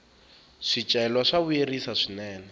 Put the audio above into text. swicelwa swa vuyerisa swinene